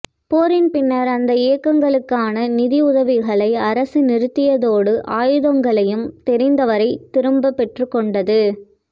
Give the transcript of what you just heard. போரின் பின்னர் அந்த இயக்கங்களுக்கான நிதி உதவிகளை அரசு நிறுத்தியதோடு ஆயுதங்களையும் தெரிந்தவரை திரும்பப் பெற்றுக்கொண்டது